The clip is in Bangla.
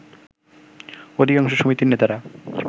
অধিকাংশ সমিতির নেতারা